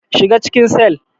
Shiga cikin cell.